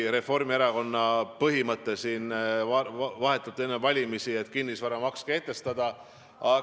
Reformierakonna põhimõte vahetult enne valimisi oli see, et tuleks kehtestada kinnisvaramaks.